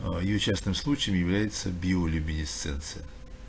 аа её частным случаем является биолюминесценция